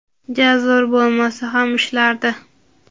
ja zo‘r bo‘lmasa ham ishlardi.